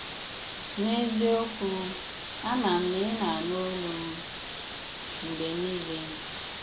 N’eziokwù, àmà m na ị na-ànụ̀ òlù m mgbe niile